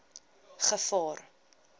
gevaar